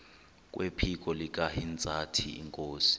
kwephiko likahintsathi inkosi